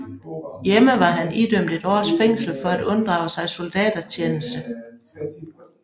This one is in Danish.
Hjemme var han idømt et års fængsel for at unddrage sig soldatertjeneste